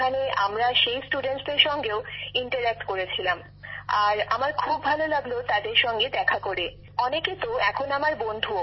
সেখানে আমরা সেই ছাত্রছাত্রীদের সঙ্গেও মতবিনিময় করেছিলাম আর আমার খুব ভালো লাগলো তাদের সঙ্গে দেখা করে অনেকে তো এখন আমার বন্ধু